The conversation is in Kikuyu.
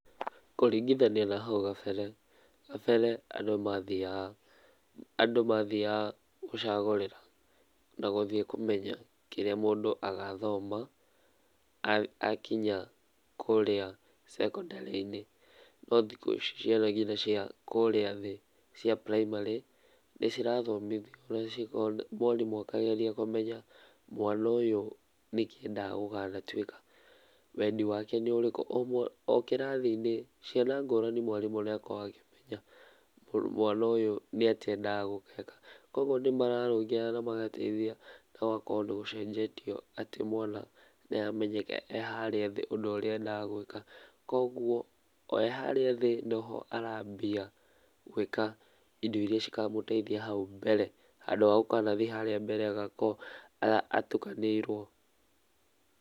Kũrĩngĩthania na haũ gambere, gambere andũ mathiaga andũ mathiaga gũcagũrĩra na gũthiĩ kũmenya kĩrĩa mũndũ agathoma akinya kũrĩa sekondarĩ-inĩ, no thikũ ici ciana cia nginya kũrĩa thĩ cia prĩmary nĩ cirathomĩthio na mwarimũ akagerĩa kũmenya mwana ũyũ nĩ kĩ endaga gũkanatwĩka wendĩ wake nĩ ũrĩkũ o kĩrathi inĩ ciana ngũranĩ mwarimũ nĩageragia kũmenya mwana ũyũ nĩ atĩa enda gũgeka kũogũo nĩmararũngĩra na magateĩthĩa no ũgakora nĩ gũcenjetie atĩ mwana nĩ aramenyeka e harĩa thĩ ũndũ ũrĩa endaga gwĩka , kũogũo o arĩ harĩa thĩ no ho arambia gwĩka indo irĩa ikamũtethia haũ mbele handũ ha gũkanathi harĩa mbele agakorwo atũkanĩirwo.